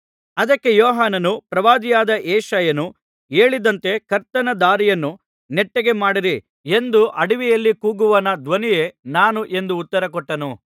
ಅದಕ್ಕೆ ಯೋಹಾನನು ಪ್ರವಾದಿಯಾದ ಯೆಶಾಯನು ಹೇಳಿದಂತೆ ಕರ್ತನ ದಾರಿಯನ್ನು ನೆಟ್ಟಗೆ ಮಾಡಿರಿ ಎಂದು ಅಡವಿಯಲ್ಲಿ ಕೂಗುವವನ ಧ್ವನಿಯೇ ನಾನು ಎಂದು ಉತ್ತರ ಕೊಟ್ಟನು